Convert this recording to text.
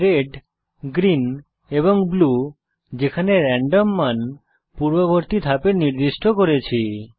red green এবং blue যেখানে random মান পূর্ববর্তী ধাপে নির্দিষ্ট করেছি